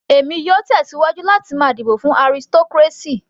Èmi yóò tẹ̀síwájú láti máa dìbò fún aristocracy.